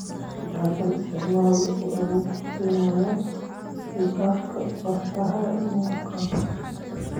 Is-dhexgal isticmaale oo awood u siinaya is-dhexgalka bartaha nuxurkaas.